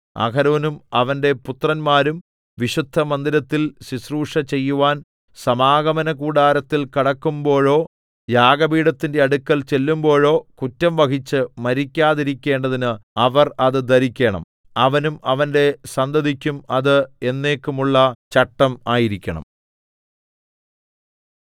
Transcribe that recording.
അഹരോനും അവന്റെ പുത്രന്മാരും വിശുദ്ധമന്ദിരത്തിൽ ശുശ്രൂഷ ചെയ്യുവാൻ സമാഗമനകൂടാരത്തിൽ കടക്കുമ്പോഴോ യാഗപീഠത്തിന്റെ അടുക്കൽ ചെല്ലുമ്പോഴോ കുറ്റം വഹിച്ച് മരിക്കാതിരിക്കേണ്ടതിന് അവർ അത് ധരിക്കണം അവനും അവന്റെ സന്തതിക്കും അത് എന്നേക്കുമുള്ള ചട്ടം ആയിരിക്കണം